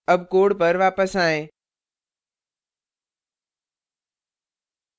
अब code पर वापस आएँ